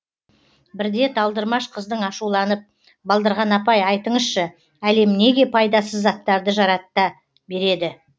бірде талдырмаш қыздың ашуланып балдырған апай айтыңызшы әлем неге пайдасыз заттарды жаратта береді